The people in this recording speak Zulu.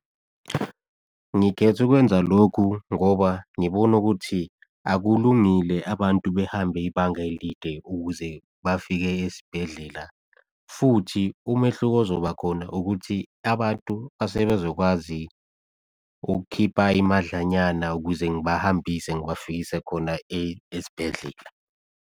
Ngikhethe ukwenza lokhu ngoba ngibona ukuthi akulungile abantu behambe ibanga elide ukuze bafike esibhedlela. Futhi, umehluko ozoba khona ukuthi abantu asebezokwazi ukukhipa imadlanyana ukuze ngibahambise ngibafikise khona esibhedlela.